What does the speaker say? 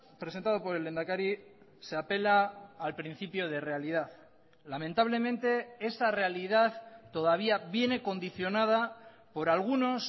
presentado por el lehendakari se apela al principio de realidad lamentablemente esa realidad todavía viene condicionada por algunos